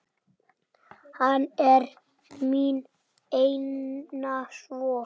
Hann er mín eina von.